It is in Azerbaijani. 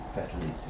Qətlə yetirilib.